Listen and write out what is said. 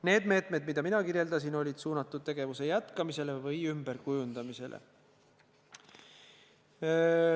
Need meetmed, mida mina nimetasin, on olnud suunatud tegevuse jätkamisele või ümberkujundamisele.